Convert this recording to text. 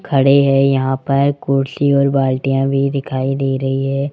खड़े हैं यहां पर कुर्सी और बालटिंया भी दिखाई दे रही हैं।